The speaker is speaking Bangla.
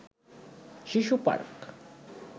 শিশু পার্ক